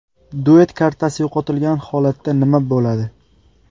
Duet kartasi yo‘qotilgan holatda nima bo‘ladi?